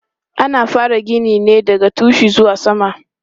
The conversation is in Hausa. Ana fara gini ne daga tushe zuwa sama.